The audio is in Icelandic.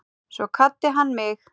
Svo kvaddi hann mig.